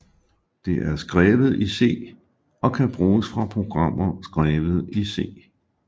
Det er skrevet i C og kan bruges fra programmer skrevet i C